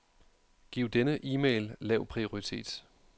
Giv denne e-mail lav prioritet.